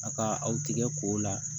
A ka aw tigɛ k'o la